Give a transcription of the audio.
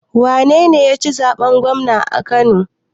Wanene yaci zaɓen gwamna a kano?